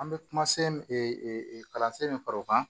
An bɛ kuma kalansen min fara o kan